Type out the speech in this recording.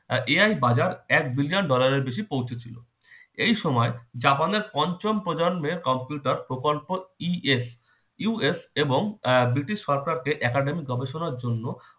আর AI বাজার এক billion dollar এর বেশি পৌঁছেছিল। এ সময় জাপানের পঞ্চম প্রজন্মের computer প্রকল্পই ESUS এবং আহ ব্রিটিশ সরকারকে academic গবেষণার জন্য